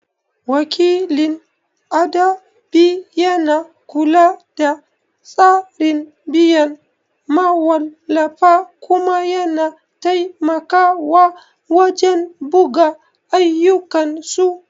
Wakilin adabi yana kula da tsarin biyan mawallafa kuma yana taimakawa wajen buga ayyukansu.